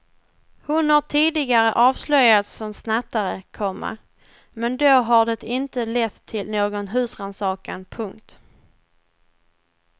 Hon har tidigare avslöjats som snattare, komma men då har det inte lett till någon husrannsakan. punkt